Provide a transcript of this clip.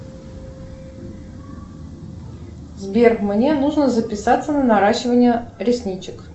сбер мне нужно записаться на наращивание ресничек